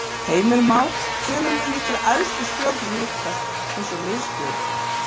Heimir Már: Hvenær munu ykkar æðstu stjórnir hittast eins og miðstjórn?